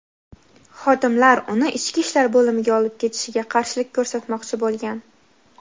xodimlar uni ichki ishlar bo‘limiga olib ketishiga qarshilik ko‘rsatmoqchi bo‘lgan.